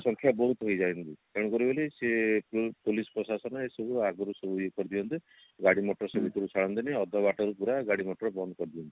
ସଂଖ୍ୟା ବହୁତ ହେଇ ଯାଏ କିନ୍ତୁ ତେଣୁକରି ବୋଲି ସିଏ ଯୋଉ police ପ୍ରଶାସନ ଅଗରୀ ସବୁ ଇଏ କରିଦିଅନ୍ତି ଗାଡି ମଟର ସବୁ ଭିତରକୁ ଛାଡିନ୍ତିନି ଅଧା ବାଟରେ ପୁରା ଗାଡି ମଟର ବନ୍ଦ କରିଦିଅନ୍ତି